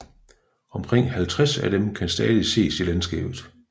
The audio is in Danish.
Omkring 50 af dem kan stadig ses i landskabet